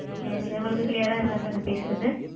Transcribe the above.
Yes sir உங்களுக்கு clear ஆ இருக்கா sir நா பேசறது?